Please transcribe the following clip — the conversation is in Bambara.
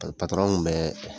kun mɛ